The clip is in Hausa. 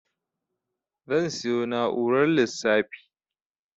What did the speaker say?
Zan siyo na'urar lissafi